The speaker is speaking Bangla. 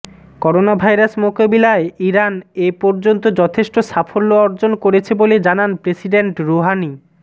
করোনাভাইরাস মোকাবিলায় ইরান এ পর্যন্ত যথেষ্ট সাফল্য অর্জন করেছে বলে জানান প্রেসিডেন্ট রুহানি